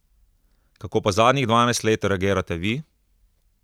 Kako pa zadnjih dvanajst let reagirate vi?